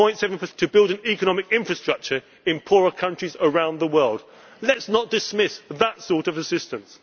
of 0.7 of GNI to build an economic infrastructure in poorer countries around the world. Let us not dismiss that sort